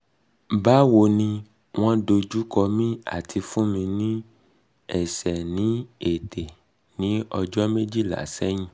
bawo ni won dojukomi ati fun mi ni ese ni ete ni ojo mejila sehin